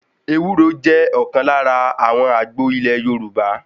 Ewúro jẹ́ ọ̀kan lára àwọn àgbo ilé Yorùbá.